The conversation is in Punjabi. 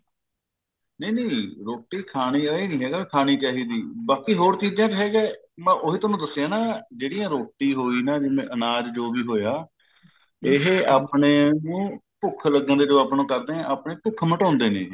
ਨਹੀਂ ਨਹੀਂ ਰੋਟੀ ਖਾਣੀ ਹੈ ਇਹ ਨਹੀਂ ਹੈਗਾ ਨਹੀਂ ਖਾਣੀ ਚਾਹੀਦੀ ਬਾਕੀ ਹੋਰ ਚੀਜਾਂ ਚ ਹੈਗਾ ਮੈਂ ਉਹੀ ਤੁਹਾਨੂੰ ਦੱਸਿਆ ਹੈ ਨਾ ਜਿਹੜੀ ਰੋਟੀ ਹੋਈ ਨਾ ਅਨਾਜ ਜੋ ਵੀ ਹੋਇਆ ਇਹ ਆਪਣੇ ਭੁੱਖ ਲੱਗਣ ਦੇ ਜਦੋਂ ਆਪਾਂ ਨੂੰ ਦੱਸਦੇ ਨੇ ਆਪਾਂ ਨੂੰ ਭੁੱਖ ਮਿਟਾਉਂਦੇ ਨੇ ਇਹ